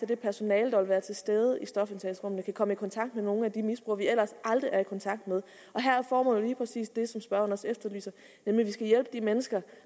det personale der vil være til stede i stofindtagelsesrummene kan komme i kontakt med nogle af de misbrugere vi ellers aldrig er i kontakt med og her er formålet lige præcis det som spørgeren også efterlyser nemlig at vi skal hjælpe de mennesker